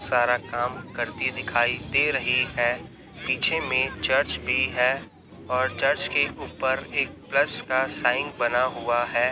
सारा काम करती दिखाई दे रही है पीछे में चर्च भी हैं और चर्च के ऊपर एक प्लस का साइन बना हुआ है।